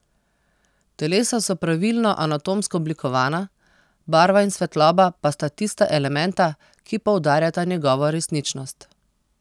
Telesa so pravilno anatomsko oblikovana, barva in svetloba pa sta tista elementa, ki poudarjata njegovo resničnost.